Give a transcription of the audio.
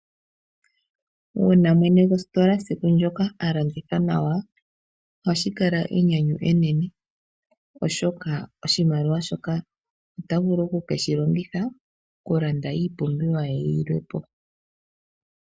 Uuna mwene gwositola siku ndyoka a landitha nawa oha shi kala enyanyu enene, oshoka oshimaliwa shoka ota vulu oku ke shi longitha okulanda iipumbiwa ye yilwe po.